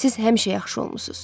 Siz həmişə yaxşı olmusunuz.